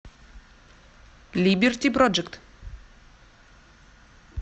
либерти проджект